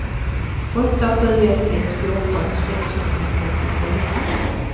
åtta sju ett ett fjorton sexhundratrettiofyra